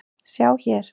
sjá hér!